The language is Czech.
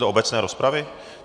Do obecné rozpravy?